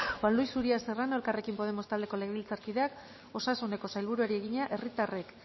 juan luis uria serrano elkarrekin podemos taldeko legebiltzarkideak osasuneko sailburuari egina herritarrek